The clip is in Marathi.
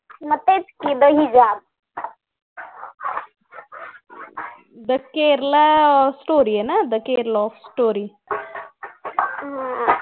दि केरला स्टोरी आहे ना दि केरला स्टोरी त्या